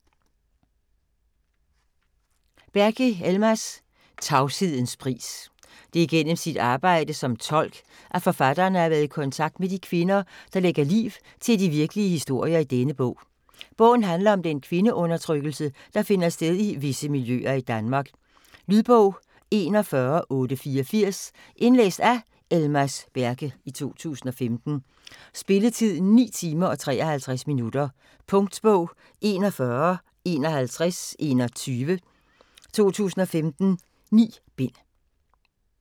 Berke, Elmas: Tavshedens pris Det er gennem sit arbejde som tolk, at forfatteren har været i kontakt med de kvinder, der lægger liv til de virkelige historier i denne bog. Bogen handler om den kvindeundertrykkelse, der finder sted i visse miljøer i Danmark. Lydbog 41884 Indlæst af Elmas Berke, 2015. Spilletid: 9 timer, 53 minutter. Punktbog 415121 2015. 9 bind.